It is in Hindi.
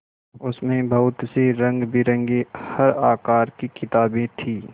उसमें बहुत सी रंगबिरंगी हर आकार की किताबें थीं